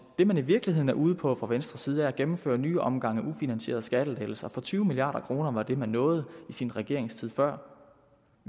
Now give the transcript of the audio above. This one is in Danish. det man i virkeligheden er ude på fra venstres side er at gennemføre nye omgange ufinansierede skattelettelser for tyve milliard kroner var det man nåede i sin regeringstid før